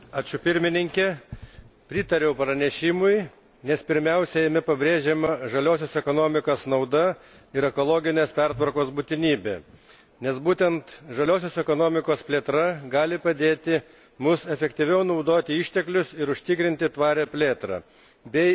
Pritariu pranešimui, nes pirmiausia jame pabrėžiama žaliosios ekonomikos nauda ir ekologinės pertvarkos būtinybė, nes būtent žaliosios ekonomikos plėtra gali padėti mums efektyviau naudoti išteklius ir užtikrinti tvarią plėtrą bei iki 2020